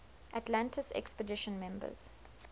atlantis expedition members